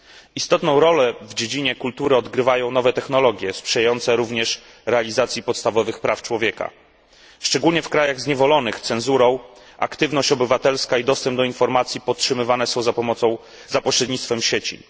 Istotną rolę w dziedzinie kultury odgrywają nowe technologie, sprzyjające również realizacji podstawowych praw człowieka. Szczególnie w krajach zniewolonych cenzurą aktywność obywatelska i dostęp do informacji podtrzymywane są za pośrednictwem sieci.